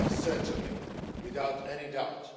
Yes, certainly, without any doubt.